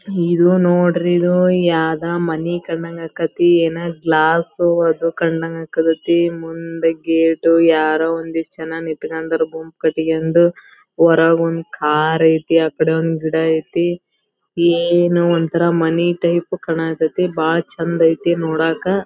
ಇದು ನೋಡ್ರಿ ಇದು ಯಾವದ್ ಮನೆ ಕಂಡಂಗ್ ಆಕತ್ತಿ ಏನ್ ಗ್ಲಾಸ್ ಅದು ಕಂಡಂಗ್ ಆಕತ್ತಿ ಮುಂದೆ ಗೇಟ್ ಯಾರೋ ಒಂದ್ ಇಷ್ಟ ಜನ ನಿಂತಕೊಂಡಿರುವ ಗುಂಪ ಕಟ್ಟಕೊಂಡು ಹೊರಗೊಂದ್ ಕಾರ್ ಐತಿ ಆ ಕಡೆ ಒಂದ್ ಗಿಡ ಐತಿ. ಏನೋ ಒಂತರ ಮನೆ ಟೈಪ್ ಕಾಣ್ ಕತ್ತಿ ಬಾಳ್ ಚಂದ ಐತಿ ನೋಡಾಕ್.